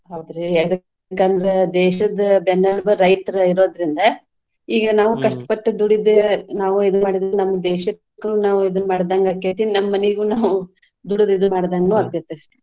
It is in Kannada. ಹೌದ್ರಿ ಯದ್ಕಂದ್ರ ದೇಶದ ಬೆನ್ನೆಲ್ಬು ರೈತ್ರೆ ಇರೋದ್ರಿಂದ ಈಗ ನಾವು ಕಷ್ಟಪಟ್ಟ್ ದುಡಿದೆ, ನಾವು ಇದ್ ನಮ್ಮ್ ದೇಶಕ್ ನಾವು ಇದನ್ನ್ ಮಾಡಿದಂಗ್ ಆಕ್ಕೆತಿ. ನಮ್ಮ್ ಮನಿಗೂನು ದುಡಿದು ಇದ್ ಮಾಡ್ದಂಗೂ ಆಕ್ಕೆತಿ.